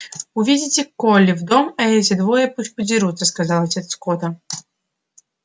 увидите колли в дом а эти двое пусть подерутся сказал отец скотта